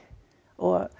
og